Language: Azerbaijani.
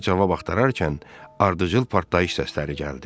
sualına cavab axtararkən ardıcıl partlayış səsləri gəldi.